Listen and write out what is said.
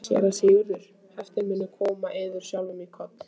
SÉRA SIGURÐUR: Heiftin mun koma yður sjálfum í koll?